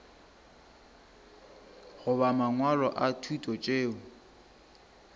goba mangwalo a thuto tšeo